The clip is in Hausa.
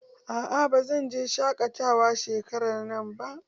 A'a ba zan je dajin shaƙatawa shekarar nan ba.